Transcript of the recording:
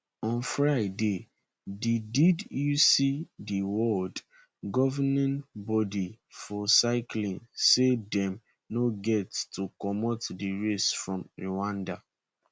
on friday di di uci di world governing body for cycling say dem no get to comot di race from rwanda